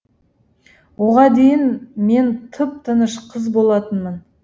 оған дейін мен тып тыныш қыз болатынмын